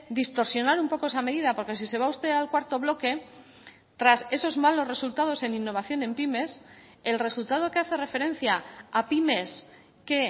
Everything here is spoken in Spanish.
distorsionar un poco esa medida porque si se va usted al cuarto bloque tras esos malos resultados en innovación en pymes el resultado que hace referencia a pymes que